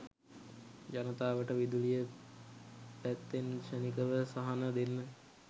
ජනතාවට විදුලිය පැත්තෙන් ක්ෂණිකව සහන දෙන්න